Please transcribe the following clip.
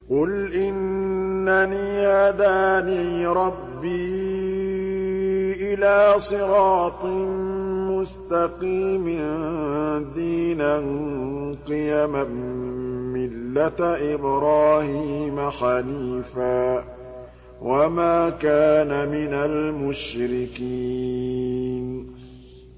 قُلْ إِنَّنِي هَدَانِي رَبِّي إِلَىٰ صِرَاطٍ مُّسْتَقِيمٍ دِينًا قِيَمًا مِّلَّةَ إِبْرَاهِيمَ حَنِيفًا ۚ وَمَا كَانَ مِنَ الْمُشْرِكِينَ